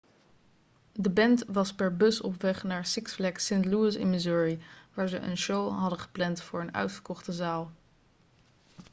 de band was per bus op weg naar six flags st. louis in missouri waar ze een show hadden gepland voor een uitverkochte zaal